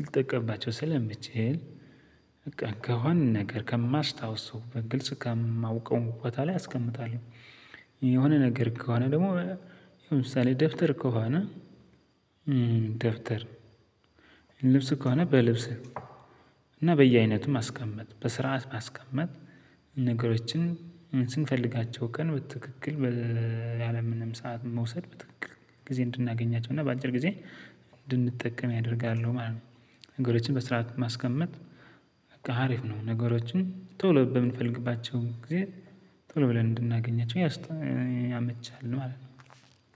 ልጠቀምባቸው ስለምችል። በቃ ከሆነ ነገር ከማስታውሰው በግልጽ ከማውቀው ቦታ ላይ አስቀምጠዋለው። የሆነ ነገር ከሆነ ደግሞ ለምሳሌ ደብተር ከሆነ። ደብተር ልብስ ከሆነ በልብስህ እና በየአይነትም ማስቀመጥ በስርዓት ማስቀመጥ። ነገሮችን ስንፈልጋቸው ቀን በትክክል ያለ ምንም ሰዓት መውሰድ በትክክል ጊዜ እንድናገኛቸው እና በአጭር ጊዜ እንድንጠቀም ያደርጋሉ ማለት ነው። ነገሮችን በስረአት ማስቀመጥ በቃ አሪፍ ነው። ነገሮችን ቶሎ በምንፈልግባቸው ጊዜ ቶሎ ብለን እንድናገኛቸው ያመቻል ማለት ነው።